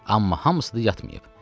Amma hamısı da yatmayıb.